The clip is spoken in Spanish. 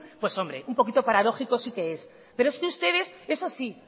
pues hombre un poquito paradójico sí que es pero es que ustedes eso sí